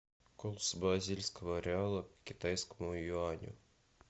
курс бразильского реала к китайскому юаню